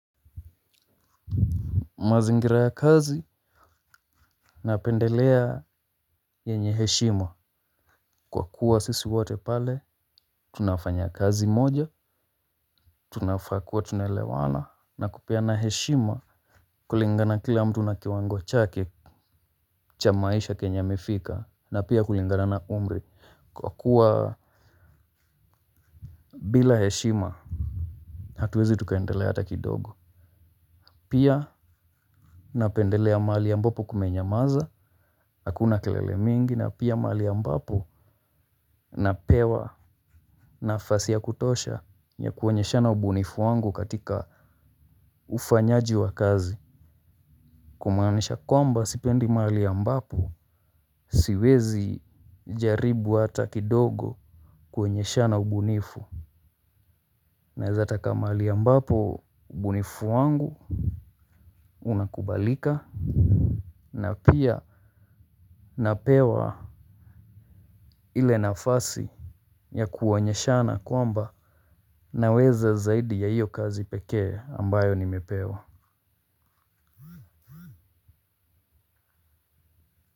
Mazingira ya kazi napendelea yenye heshima. Kwa kuwa sisi wote pale tunafanya kazi moja, tunafaa kuwa tunelewana na kupeana heshima. Kulingana kila mtu na kiwango chake cha maisha kenye amefika na pia kulingana na umri kwa kuwa, bila heshima, hatuwezi tukendelea hata kidogo. Pia, napendelea mahali ambapo kumenyamaza, hakuna kelele mingi na pia mali ambapo napewa nafasi ya kutosha ya kuonyeshana ubunifu wangu katika ufanyaji wa kazi. Kumaanisha kwamba, sipendi mahali ambapo, siwezi jaribu ata kidogo kuonyeshana ubunifu. Naeza taka mali ambapo ubunifu wangu unakubalika na pia napewa ile nafasi yakuonyeshana kwamba naweza zaidi ya hiyo kazi pekee, ambayo nimepewa.